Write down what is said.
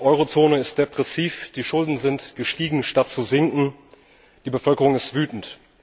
Die Euro Zone ist depressiv, die Schulden sind gestiegen, statt zu sinken, die Bevölkerung ist wütend.